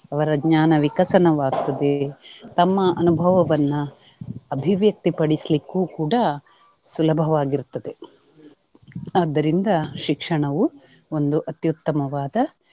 ಅವರ ಜ್ಞಾನ ವಿಕಸನವಾಗ್ತದೆ ತಮ್ಮ ಅನುಭವವನ್ನ ಅಭಿವ್ಯಕ್ತಿ ಪಡಿಸ್ಲಿಕ್ಕು ಕೂಡಾ ಸುಲಭವಾಗಿರುತ್ತದೆ. ಆದ್ದರಿಂದ ಶಿಕ್ಷಣವು ಒಂದು ಅತ್ಯುತ್ತಮವಾದ